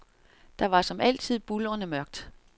Der var som altid buldrende mørkt.